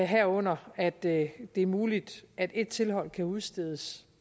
herunder at det er muligt at et tilhold kan udstedes